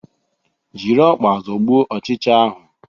Jiri ọkpa zọgbuo ochicha ahu